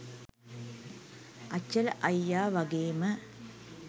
අචල අයියා වගේම